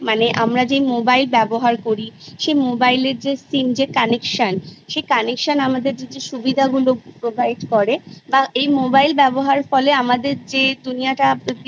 এক হয় মৌলিক শিক্ষা আর একটা পুঁথিগত শিক্ষা মানে বিষয়ভিত্তিক শিক্ষা মৌলিক শিক্ষাটা মূলত জন্মের পর থেকে যখন বাচ্ছারা একটু বড়ো হয় হাটতে শেখে তখনি বাড়ি থেকে শুরু হয়ে যায়